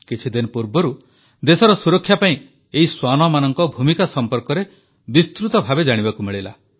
କିଛିଦିନ ପୂର୍ବରୁ ଦେଶର ସୁରକ୍ଷା ପାଇଁ ଏହି ଶ୍ୱାନମାନଙ୍କ ଭୂମିକା ସମ୍ପର୍କରେ ବିସ୍ତୃତ ଭାବେ ଜାଣିବାକୁ ମିଳିଲା